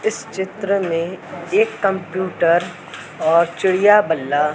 इस चित्र में एक कंप्यूटर ओर चिड़ियाँ बल्ला--